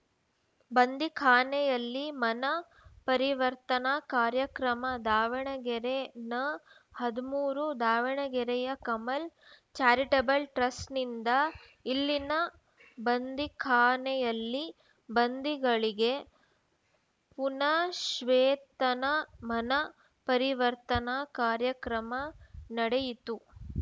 ಬಂಧೀಖಾನೆಯಲ್ಲಿ ಮನಃ ಪರಿವರ್ತನಾ ಕಾರ್ಯಕ್ರಮ ದಾವಣಗೆರೆ ನಹದಿಮೂರು ದಾವಣಗೆರೆಯ ಕಮಲ್‌ ಚಾರಿಟಬಲ್‌ ಟ್ರಸ್ಟ್‌ನಿಂದ ಇಲ್ಲಿನ ಬಂಧೀಖಾನೆಯಲ್ಲಿ ಬಂಧಿಗಳಿಗೆ ಪುನಶ್ವೇತನ ಮನಃ ಪರಿವರ್ತನಾ ಕಾರ್ಯಕ್ರಮ ನಡೆಯಿತು